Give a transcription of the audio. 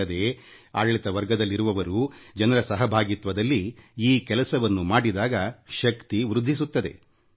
ಅಲ್ಲದೇ ಆಡಳಿತ ವರ್ಗದಲ್ಲಿರುವವರು ಜನರ ಸಹಭಾಗಿತ್ವದಲ್ಲಿ ಇಂಥ ಕಾರ್ಯವನ್ನು ಮಾಡಿದಾಗ ಅದು ಇನ್ನೂ ಹೆಚ್ಚು ಶಕ್ತಿಶಾಲಿಯಾಗುತ್ತದೆ